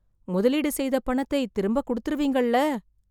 முதலீடு செய்த பணத்தை திரும்ப குடுத்திருவீங்கள்ல